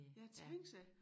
Ja tænk sig